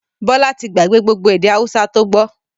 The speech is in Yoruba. Bọlá tí gbà gbé gbogbo èdè Hausa to gbọ́